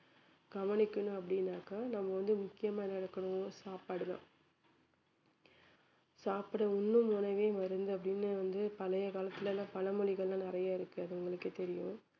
கவனிக்கணும் அப்படின்னாக்கா நம்ம வந்து முக்கியமா என்ன எடுக்கணும் சாப்பாடு தான் சாப்பிடும் உண்ணும் உணவே மருந்து அப்படின்னு வந்து பழைய காலத்துல எல்லாம் பழமொழிகள்லாம் நிறைய இருக்கு அது உங்களுக்கே தெரியும்